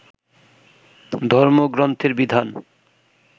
ধর্মগ্রন্থের বিধান